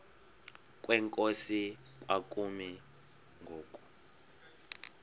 kwenkosi kwakumi ngoku